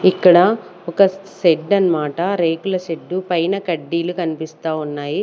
ఇక్కడ ఒక షెడ్ అన్నమాట రేకుల షెడ్డు పైన కడ్డీలు కనిపిస్తా ఉన్నాయి.